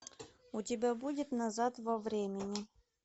у тебя будет назад во времени